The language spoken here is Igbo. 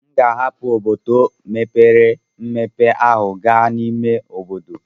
M ga-ahapụ obodo mepere emepe ahụ gaa n'ime obodo.